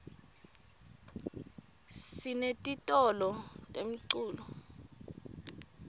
sinetitolo temculo